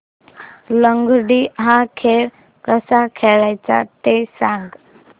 लंगडी हा खेळ कसा खेळाचा ते सांग